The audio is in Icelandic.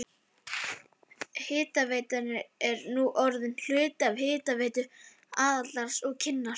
Hitaveitan er nú orðin hluti af Hitaveitu Aðaldals og Kinnar.